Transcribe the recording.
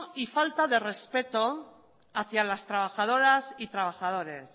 y falta de respeto hacia las trabajadoras y trabajadores